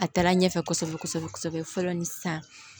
A taara ɲɛfɛ kosɛbɛ kosɛbɛ fɔlɔ ni sisan